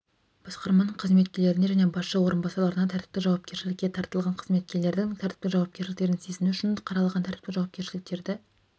басқарманың қызметкерлеріне және басшы орынбасарларына тәртіптік жауапкершілікке тартылған қызметкерлердің тәртіптік жауапкершіліктерін сезіну үшін қаралған тәртіптік жауапкершіліктерді